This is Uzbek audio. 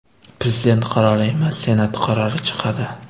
Prezident qarori emas, Senat qarori chiqadi!